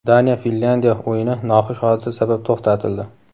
Daniya Finlyandiya o‘yini noxush hodisa sabab to‘xtatildi.